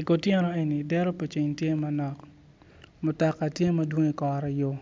I kotyeno eni dero pa ceng tye manok mutoka tye madwong I kora yo